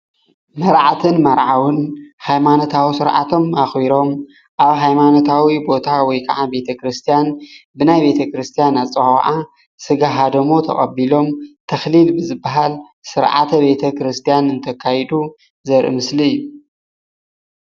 መርዓትን መርዓውን ሃይማኖታዊ ስርዓቶም ኣክቢሮም ኣብ ሃይማኖታዊ ቦታ ወይ ክዓ ብቤተክርስትያን ብናይ ቤተ ክርስትያን ኣፀዋውዓ ስጋ ሃደሞ ተቀቢሎም ተክሊል ብዝብሃል ስርዓተ ቤተ ክርስትያን እንተካይዱ ዘርኢ ምስሊ እዩ፡፡